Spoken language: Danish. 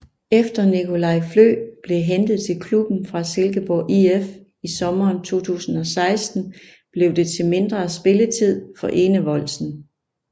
Efter Nicolai Flø blev hentet til klubben fra Silkeborg IF i sommeren 2016 blev det til mindre spilletid for Enevoldsen